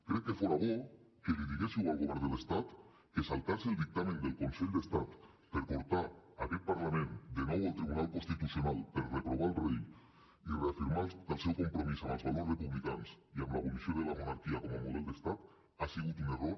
crec que fora bo que li diguéssiu al govern de l’estat que saltar se el dictamen del consell d’estat per portar aquest parlament de nou al tribunal constitucional per reprovar el rei i reafirmar el seu compromís amb els valors republicans i amb l’abolició de la monarquia com a model d’estat ha sigut un error